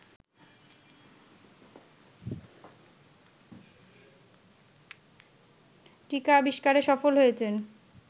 টীকা আবিস্কারে সফল হয়েছেন